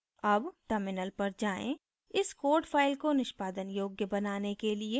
अब terminal पर जाएँ इस code file को निष्पादन योग्य बनाने के लिए